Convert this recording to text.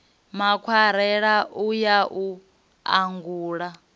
makwarela u ya u angula